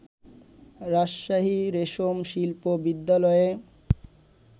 রাজশাহী রেশম শিল্প বিদ্যালয়ের